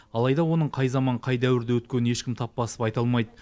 алайда оның қай заман қай дәуірде өткенін ешкім тап басып айта алмайды